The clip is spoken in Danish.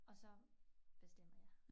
Og så bestemmer jeg